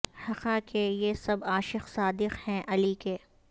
حقا کہ یہ سب عاشق صادق ہیں علی کے